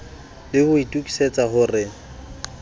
le ho itokisa ho re